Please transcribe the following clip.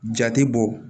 Jate bɔ